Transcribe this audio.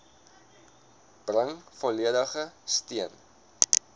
bring volledige steun